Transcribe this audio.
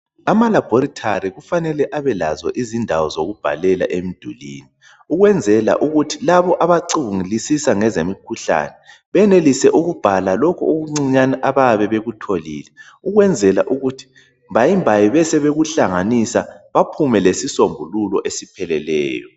Ama laboratory kufanele Abe lazo izindawo zokubhalela emdulini ukwenzela ukuthi labo abacungulisisa ngezemikhuhlane benelise uku okuncinyane abayabe bekutholile ukwenzela ukuthi mbayimbayi besebekuhlanganisa baphume lesisombuluko esipheleleyo